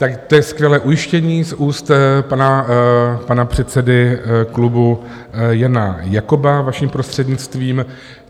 Tak to je skvělé ujištění z úst pana předsedy klubu Jana Jakoba, vaším prostřednictvím.